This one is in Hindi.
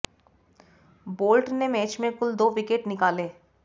बोल्ट ने मैच में कुल दो विकेट निकाले